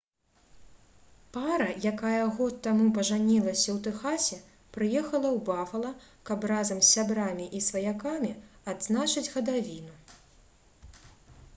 пара якая год таму пажанілася ў тэхасе прыехала ў бафала каб разам з сябрамі і сваякамі адзначыць гадавіну